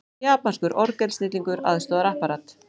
Japanskur orgelsnillingur aðstoðar Apparat